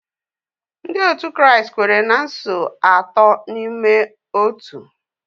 Ndị otu Kraịst kwere na Nso Atọ n’Ime Otu.